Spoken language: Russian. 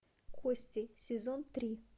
кости сезон три